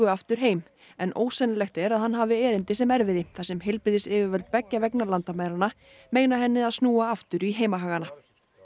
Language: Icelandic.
aftur heim en ósennilegt er að hann hafi erindi sem erfiði þar sem heilbrigðisyfirvöld beggja vegna landamæranna meina henni að snúa aftur í heimahagana